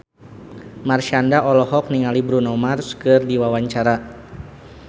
Marshanda olohok ningali Bruno Mars keur diwawancara